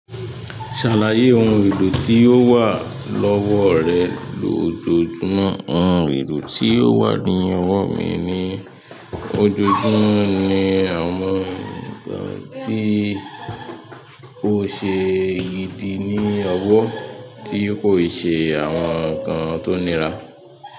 Ṣàlàyé ohun elo tí ó wà lọ́wọ́ rẹ lójoojúmọ́. Ohun èlò tí ó wà ní ọwọ́ mi ní ojoojúmọ́ ni àwọn ǹnkan tí ó ṣe ìdí ní ọwọ́, tí kò i ṣe àwọn ǹnkan tó nira.